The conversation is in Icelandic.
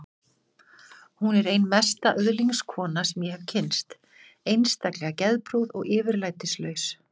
Hún er ein mesta öðlingskona sem ég hef kynnst, einstaklega geðprúð og yfirlætislaus.